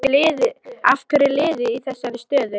Af hverju er liðið í þessari stöðu?